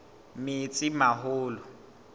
metsimaholo